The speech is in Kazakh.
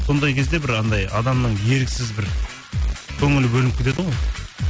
сондай кезде бір анандай адамның еріксіз бір көңілі бөлініп кетеді ғой